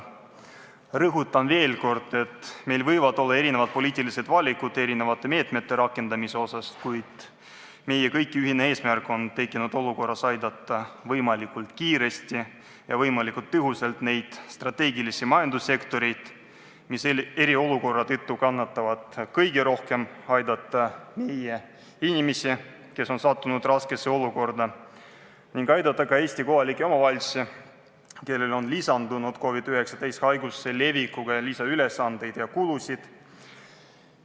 Rõhutan veel kord, et meil võivad olla erinevad poliitilised valikud eri meetmete rakendamise osas, kuid meie kõigi ühine eesmärk on tekkinud olukorras aidata võimalikult kiiresti ja võimalikult tõhusalt neid strateegiliselt olulisi majandussektoreid, mis eriolukorra tõttu kannatavad kõige rohkem, aidata meie inimesi, kes on sattunud raskesse olukorda, ning aidata ka Eesti kohalikke omavalitsusi, kellel on lisandunud COVID-19 haiguse leviku tõttu lisaülesandeid ja -kulusid.